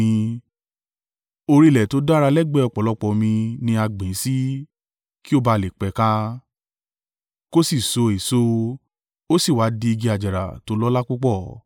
Orí ilẹ̀ tó dára lẹ́gbẹ̀ẹ́ ọ̀pọ̀lọpọ̀ omi ni a gbìn ín sí, kí ó bá à le pẹ̀ka, kò sì so èso, ó sì wá di igi àjàrà tó lọ́lá púpọ̀.’